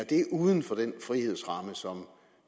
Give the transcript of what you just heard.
det uden for den frihedsramme som